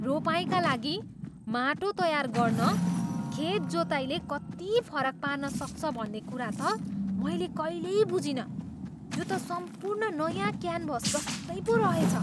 रोपाइँका लागि माटो तयार गर्न खेत जोताइले कति फरक पार्न सक्छ भन्ने कुरा त मैले कहिल्यै बुझिनँ। यो त सम्पूर्ण नयाँ क्यानभस जस्तै पो रहेछ!